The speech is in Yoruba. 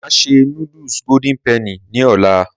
Màá ṣe noodles Golden Penny ní ọ̀la.